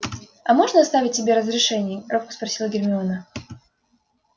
а можно оставить себе разрешение робко спросила гермиона